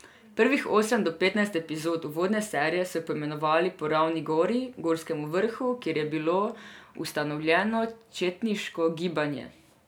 Prvih osem od petnajst epizod uvodne serije so poimenovali po Ravni gori, gorskem vrhu, kjer je bilo ustanovljeno četniško gibanje.